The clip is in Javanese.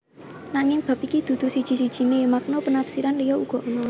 Nanging bab iki dudu siji sijiné makna penafsiran liya uga ana